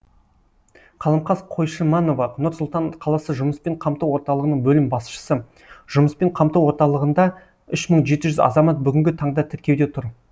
қаламқас қойшыманова нұр сұлтан қаласы жұмыспен қамту орталығының бөлім басшысы жұмыспен қамту орталығында үш мың жеті жүз азамат бүгінгі таңда тіркеуде тұр